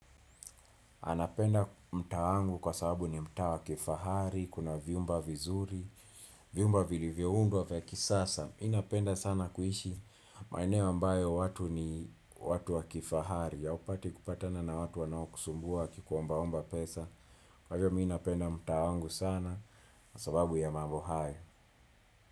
Anapenda mtaa wangu kwa sababu ni mtaa wa kifahari, kuna vyumba vizuri, vyumba vilivyoundwa vya kisasa. Mi napenda sana kuishi maeneo ambayo watu ni watu wa kifahari, haupati kupatana na watu wanaokusumbua wakikuombaomba pesa. Kwa hiyo mi napenda mtaa wangu sana, sababu ya mambo hayo.